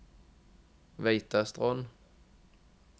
Veitastrond